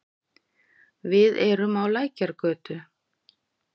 Við erum á Lækjargötu.